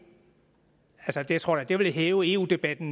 jeg tror da det ville hæve eu debatten